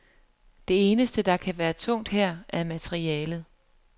Det eneste, der kan være tungt her, er materialet.